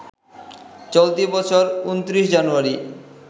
চলতি বছর ২৯ জানুয়ারি